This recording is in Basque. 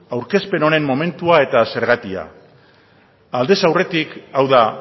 aurkezpen honen momentua eta zergatia aldez aurretik hau da